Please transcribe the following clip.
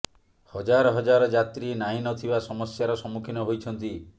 ହଜାର ହଜାର ଯାତ୍ରୀ ନାହିଁ ନଥିବା ସମସ୍ୟାର ସମ୍ମୁଖୀନ ହୋଇଛନ୍ତି